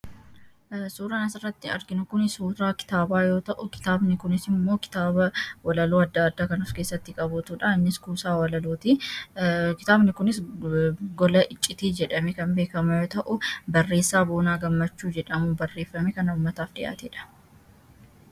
suura nasarratti argin kuni suuraa kitaabaa yoo ta'u kimmoo kitaaba walaluu adda addaa kanuf keessatti qabuutudha innis kusaa kitaabni kunis gola iccitii jedhame kan beekama yoo ta'uu barreessaa boonaa gammachuu jedhamu barreeffame kana ummataaf dhi'aatee dha